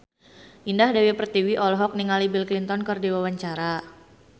Indah Dewi Pertiwi olohok ningali Bill Clinton keur diwawancara